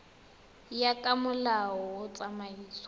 ya ka molao wa tsamaiso